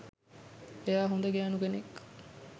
එයා හොඳ ගෑනු කෙනෙක්